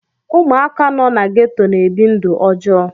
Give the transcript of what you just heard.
Ụmụaka nọ na geto na-ebi ndụ ọjọọ.